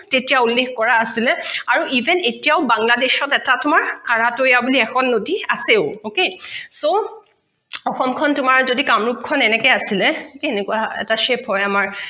তেতিয়া উল্লেখ কৰা আছিলে আৰু even এতিয়াও bangladesh ত এটা তোমাৰ কাৰাটৈয়া বুলি এখন নদী আছেও okay so অসমখন তোমাৰ যদি কামৰুপ খন এনেকে আছিলে এনেকুৱা এটা shape হয়